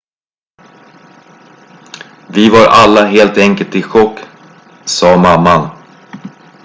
"""vi var alla helt enkelt i chock," sa mamman.